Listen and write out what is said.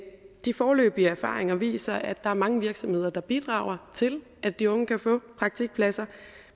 de foreløbige erfaringer viser at der er mange virksomheder der bidrager til at de unge kan få praktikpladser